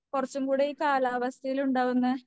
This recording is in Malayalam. കുറച്ചും കൂടെ ഈ കാലാവസ്ഥയിലുണ്ടാകുന്ന